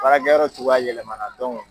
Baarakɛyɔrɔ cogoya yɛlɛmana .